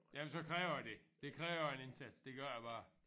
Jamen så kræver det. Det kræver en indsats det gør det bare